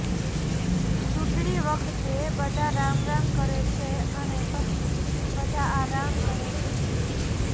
ચુંટણી વખતે બધા રામ રામ કરે છે અને પછી બધા આરામ કરે છે